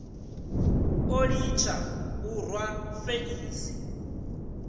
o litsha u rwa feisi